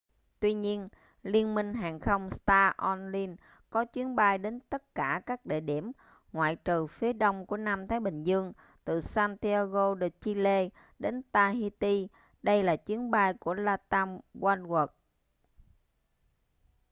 tuy nhiên liên minh hàng không star alliance có chuyến bay đến tất cả các địa điểm ngoại trừ phía đông của nam thái bình dương từ santiago de chile đến tahiti đây là chuyến bay của latam oneworld